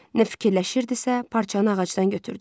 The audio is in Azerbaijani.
Nə fikirləşirdisə, parçanı ağacdan götürdü.